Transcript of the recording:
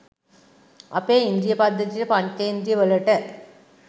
අපේ ඉන්ද්‍රිය පද්ධතියට පංචෙන්ද්‍රියවලට